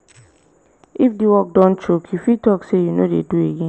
if di work don choke you fit talk sey you no dey do again